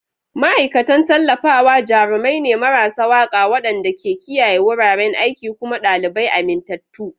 Ma'aikatan Tallafawa jarumai ne marasa waƙa waɗanda ke kiyaye wuraren aiki kuma ɗalibai amintattu.